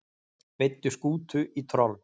Veiddu skútu í troll